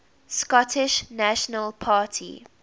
scottish national party